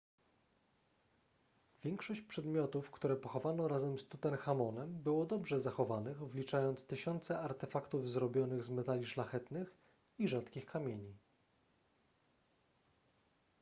większość przedmiotów które pochowano razem z tutenchamonem było dobrze zachowanych wliczając tysiące artefaktów zrobionych z metali szlachetnych i rzadkich kamieni